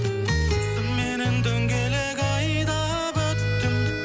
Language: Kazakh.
сымменен дөңгелек айдап өттім